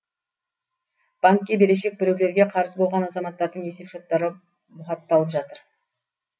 банкке берешек біреулерге қарыз болған азаматтардың есеп шоттары бұғатталып жатыр